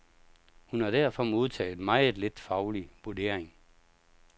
Hun har derfor modtaget meget lidt faglig vurdering.